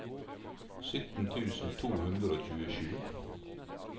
sytten tusen to hundre og tjuesju